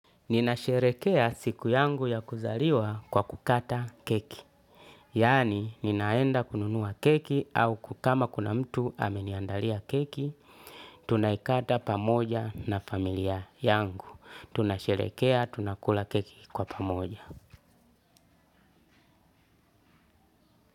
Ninasherekea siku yangu ya kuzaliwa kwa kukata keki. Yani ninaenda kununua keki au ku kama kuna mtu ameniandalia keki. Tunaikata pamoja na familia yangu. Tunasherekea tunakula keki kwa pamoja.